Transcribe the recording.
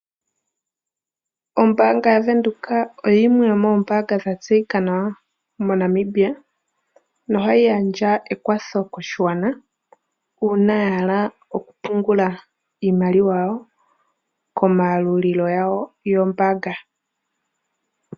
Ombaanga ya venduka oyo yimwe yo moombaanga dha tseyika nawa mo Namibia no ha yi gandja ekwatho koshigwana, uuna ya hala oku pungula iimaliwa yawo komayalulilo gawo go mbaanga.